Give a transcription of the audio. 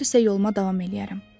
Səhər isə yoluma davam eləyərəm.